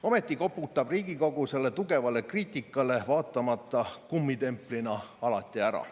Ometi koputab Riigikogu tugevale kriitikale vaatamata kummitemplina alati ära.